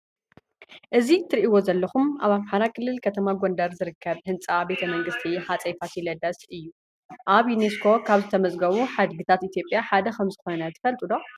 እዚ እትሪእዎ ዘለኹም ኣብ ኣምሓራ ክልል ከተማ ጎንደር ዝርከብ ህንፃ ቤተ መንግስቲ ሃፀይ ፋሲለደስ ኣብ ዩኔስኮ ካብ ዝተመዝገቡ ሓድግታት ኢትዮጵያ ሓደ ከም ዝኾነ ትፈልጡ ዶ?